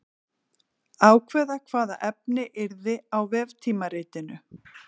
Ákveða hvaða efni yrði á veftímaritinu.